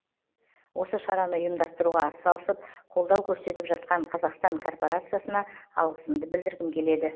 осы шараны ұйымдастыруға атсалысып колдау көрсетіп жатқан қазақстан корпорациясына алғысымды білдіргім келеді